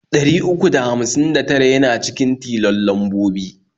Ɗari uku da hamsin da tara yana cikin tilon lambobi.